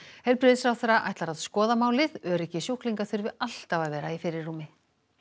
heilbrigðisráðherra ætlar að skoða málið öryggi sjúklinga þurfi alltaf að vera í fyrirrúmi